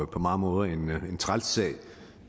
på mange måder en træls sag